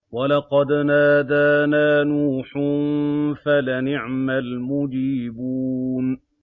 وَلَقَدْ نَادَانَا نُوحٌ فَلَنِعْمَ الْمُجِيبُونَ